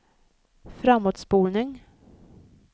framåtspolning